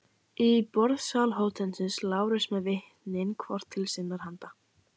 Í borðsal hótelsins: Lárus með vitnin hvort til sinnar handar.